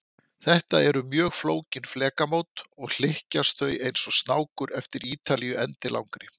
Þetta eru mjög flókin flekamót, og hlykkjast þau eins og snákur eftir Ítalíu endilangri.